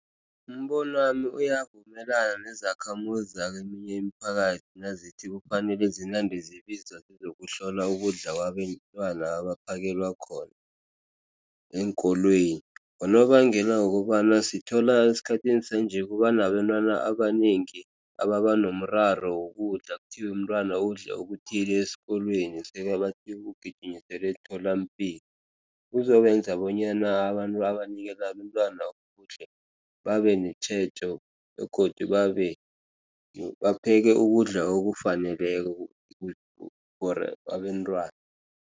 Umbono wami uyavumelana nezakhamuzi zakeminye imiphakathi, nazithi kufanele zinande zibiza zokuhlola ukudla kwabentwana abaphekelwa khona eenkolweni, ngonobangela wokobana sithola esikhathini sanje kubanabentwana abanengi ababanomraro wokudla. Kuthiwa umntwana udle okuthile esikolweni umgijimisele emtholampilo. Kuzobenza bonyana abantu abanikela abentwana ukudla babenetjhejo begodu babebapheke ukudla okufaneleko for abentwana.